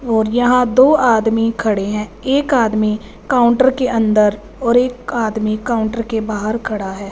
और यहां दो आदमी खड़े हैं एक आदमी काउंटर के अंदर और एक आदमी काउंटर के बाहर खड़ा है।